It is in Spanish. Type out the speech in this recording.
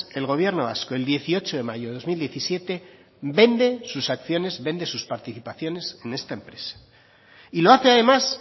el gobierno vasco el dieciocho de mayo del dos mil diecisiete vende sus participaciones de esta empresa lo hace además